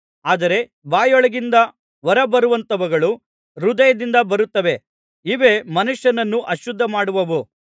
ಆದರೆ ಬಾಯೊಳಗಿಂದ ಹೊರ ಬರುವಂಥವುಗಳು ಹೃದಯದಿಂದ ಬರುತ್ತವೆ ಇವೇ ಮನುಷ್ಯನನ್ನು ಅಶುದ್ಧಿಮಾಡುವವು